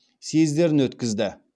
съездерін өткізді